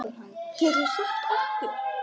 Geturðu sagt okkur?